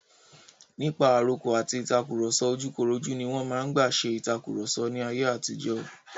Nípa àrokò àti ìtàkurọ̀sọ ojúkorojú ní wọn máa ń gbà ṣe ìtàkurọ̀sọ ní ayé àtijó.